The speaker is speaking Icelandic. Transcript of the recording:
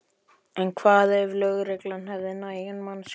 En hvað ef lögregla hefði nægan mannskap?